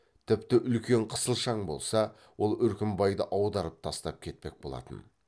тіпті үлкен қысылшаң болса ол үркімбайды аударып тастап кетпек болатын